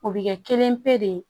O bɛ kɛ kelen pe de ye